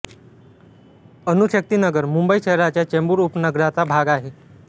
अणुशक्ती नगर मुंबई शहराच्या चेंबूर उपनगराचा भाग आहे